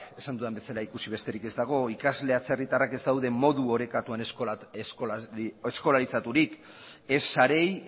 esan dudan bezala ikusi besterik ez dago ikasle atzerritarrak ez daude modu orekatuan eskolarizaturik ez sareei